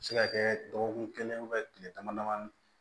A bɛ se ka kɛ dɔgɔkun kelen tile damadamani